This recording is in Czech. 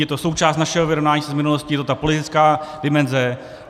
Je to součást našeho vyrovnání se s minulostí, je to ta politická dimenze.